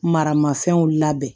Maramafɛnw labɛn